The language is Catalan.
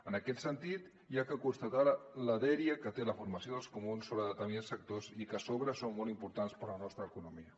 en aquest sentit s’ha de constatar la dèria que té la formació dels comuns sobre determinats sectors que a sobre són molt importants per a la nostra economia